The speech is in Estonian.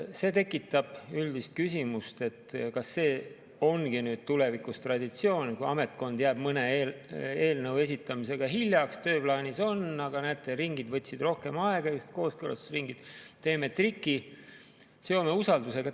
See tekitab üldise küsimuse, kas see ongi nüüd tulevikus traditsioon, et kui ametkond jääb mõne eelnõu esitamisega hiljaks – tööplaanis on, aga näete, kooskõlastusringid võtsid rohkem aega –, siis teeme triki, seome usaldusega.